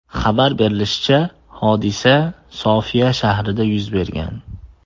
Xabar berilishicha, hodisa Sofiya shahrida yuz bergan.